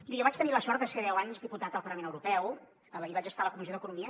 bé jo vaig tenir la sort de ser deu anys diputat al parlament europeu i vaig estar a la comissió d’economia